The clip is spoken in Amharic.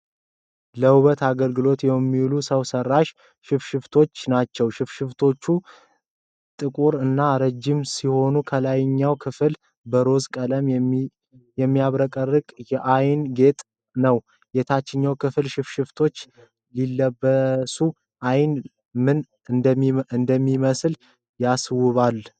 ለውበት አገልግሎት የሚውሉ ሰው ሠራሽ ሽፋሽፍቶች ናቸው። ሽፋሽፍቶቹ ጥቁር እና ረጅም ሲሆኑ፣ ከላይኛው ክፍል በሮዝ/ቀይ ሚያብረቀርቅ አይንላይነ ያጌጠ ነው። የታችኛው ክፍል ሽፋሽፍቶቹ ሲለበሱ ዓይን ምን እንደሚመስል ያስውባል።